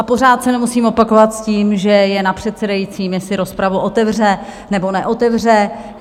A pořád se nemusím opakovat s tím, že je na předsedajícím, jestli rozpravu otevře, nebo neotevře.